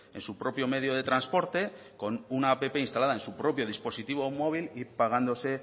en su propio medio de transporte con una app instalada en su propio dispositivo móvil y pagándose